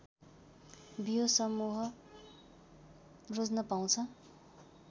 बियो समूह रोज्न पाउँछ